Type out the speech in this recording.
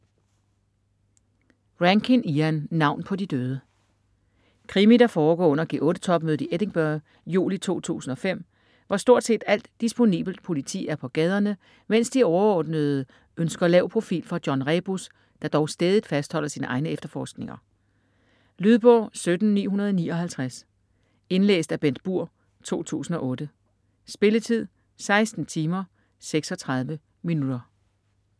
Rankin, Ian: Navn på de døde Krimi, der foregår under G8-topmødet i Edinburgh juli 2005, hvor stort set alt disponibelt politi er på gaderne, mens de overordnede ønsker lav profil fra John Rebus, der dog stædigt fastholder sine egne efterforskninger. Lydbog 17959 Indlæst af Bengt Burg, 2008. Spilletid: 16 timer, 36 minutter.